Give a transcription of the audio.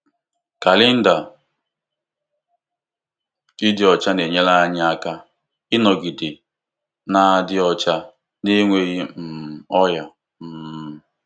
Kalenda ịdị ọcha na-enyere anyị aka ịnọgide na-adị ọcha na enweghị um ọrịa. um